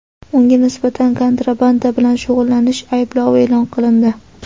Unga nisbatan kontrabanda bilan shug‘ullanish ayblovi e’lon qilindi.